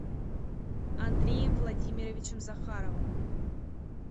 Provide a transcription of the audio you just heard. андреем владимировичем захаровым